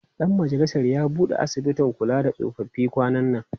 Ɗan majalisar ya buɗe asibitin kula da tsofaffi kwanan nan.